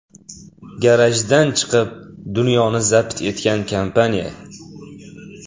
Garajdan chiqib, dunyoni zabt etgan kompaniya.